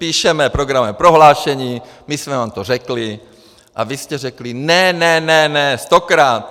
Píšeme programové prohlášení, my jsme vám to řekli a vy jste řekli ne, ne, ne, ne stokrát.